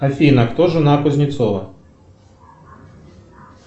афина кто жена кузнецова